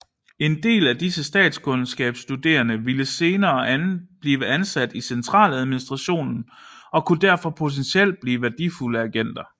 En del af disse statskundskabsstuderende ville senere blive ansat i centraladministrationen og kunne derfor potentielt blive værdifulde agenter